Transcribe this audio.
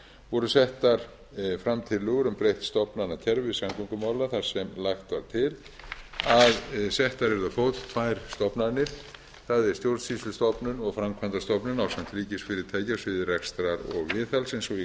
voru settar fram tillögur um breytt stofnanakerfi samgöngumála þar sem lagt var til að settar yrðu á fót tvær stofnanir það er stjórnsýslustofnun og framkvæmdastofnun ásamt ríkisfyrirtæki á sviði rekstrar